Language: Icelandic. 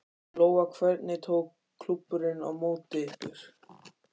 Lóa: Hvernig tók klúbburinn á móti ykkur?